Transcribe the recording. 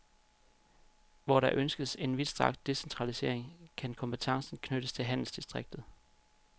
Hvor der ønskes en vidstrakt decentralisering kan kompetencen knyttes til handelsdistriktet.